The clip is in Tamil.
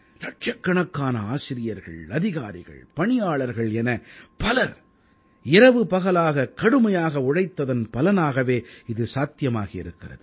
இலட்சக்கணக்கான ஆசிரியர்கள் அதிகாரிகள் பணியாளர்கள் என பலர் இரவுபகலாக கடுமையாக உழைத்ததன் பலனாகவே இது சாத்தியமாகி இருக்கிறது